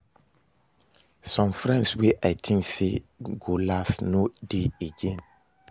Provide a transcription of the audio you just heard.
Some friends wey I think sey go last no de again